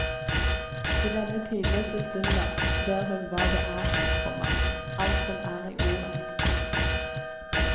I denne tidløse stunda ser hun hva det er, komma alt som er i ordet. punktum